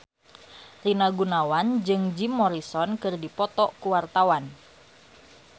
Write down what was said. Rina Gunawan jeung Jim Morrison keur dipoto ku wartawan